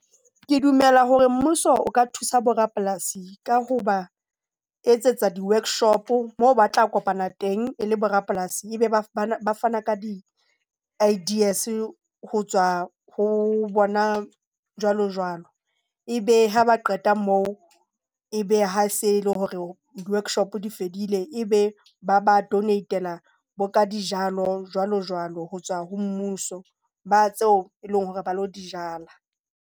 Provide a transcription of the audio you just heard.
Ke dumela hore mmuso o ka thusa bo rapolasi ka ho ba etsetsa di-workshop moo ba tla kopana teng e le bo rapolasi. E be ba ba fana ka di-ideas ho tswa ho bona jwalojwalo. E be ha ba qeta moo, ebe ha se le hore di-workshop di fedile, e be ba ba donate-ela bo ka dijalo, jwalo jwalo jwalo ho tswa ho mmuso, ba tseo e leng hore ba lo di jala.